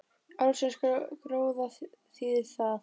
Ársins gróða þýðir það